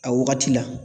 A wagati la